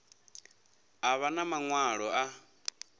a vha na maṅwalo a